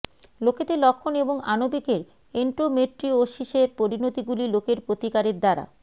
লোকেদের লক্ষণ এবং আণবিকের এন্ডোমেট্রিওসিসের পরিণতিগুলি লোকের প্রতিকারের দ্বারা